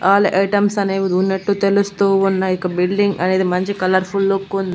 All items అనేవి ఉన్నట్టు తెలుస్తూ ఉన్నాయి ఇకా బిల్డింగ్ అనేది మంచి కలర్ ఫుల్ లుక్ ఉంది.